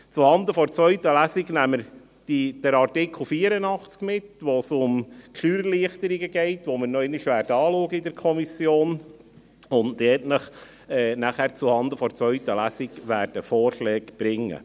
Zuhanden der zweiten Lesung nehmen wir den Artikel 84 mit, bei welchem es um die Steuererleichterung geht, welche wir in der Kommission nochmals anschauen werden, um Ihnen dann zuhanden der zweiten Lesung Vorschläge bringen.